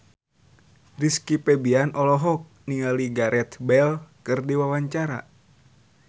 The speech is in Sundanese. Rizky Febian olohok ningali Gareth Bale keur diwawancara